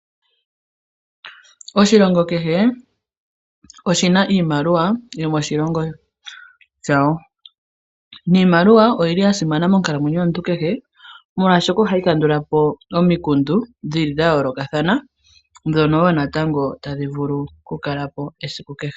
Oshilongo kehe oshina iimaliwa yomoshilongo shawo. Niimaliwa oyi li ya simana mokalamwenyo yomuntu kehe, molwaashoka ohayi kandulapo omikundu, dhi li dha yoolokathana dhono wo natango tadhi vulu oku kalapo esiku kehe.